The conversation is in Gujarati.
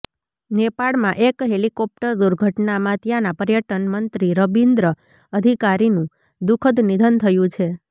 નેપાળમાં એક હેલિકોપ્ટર દુર્ધટનામાં ત્યાંના પર્યટનમંત્રી રબીન્દ્ર અધિકારીનું દુખદ નિધન થયું છે